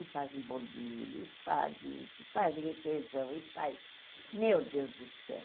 E fazem bolo de milho, e fazem isso, e fazem requeijão, e faz... Meu Deus do céu!